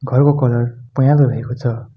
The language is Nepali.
घरको कलर पहेंलो रहेको छ।